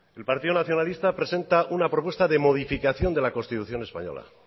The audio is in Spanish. el partido nacionalista presenta una propuesta de modificación de la constitución española